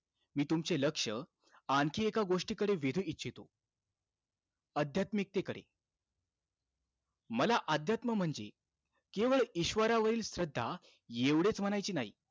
मी तुमचे लक्ष आणखी एका गोष्टीकडे वेधू इच्छितो. अध्यात्मिकतेकडे. मला अध्यात्म म्हणजे, केवळ ईश्वरावरील श्रद्धा एवढेचं म्हणायचे नाही.